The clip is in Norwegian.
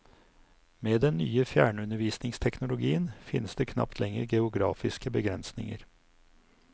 Med den nye fjernundervisningsteknologien, finnes det knapt lenger geografiske begrensinger.